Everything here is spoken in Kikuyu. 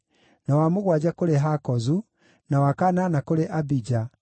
na wa mũgwanja kũrĩ Hakozu, na wa kanana kũrĩ Abija,